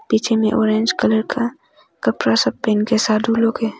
पीछे में orange colour का कपड़ा सब पहन के साधु लोग हैं।